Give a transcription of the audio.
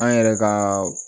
An yɛrɛ ka